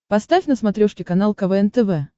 поставь на смотрешке канал квн тв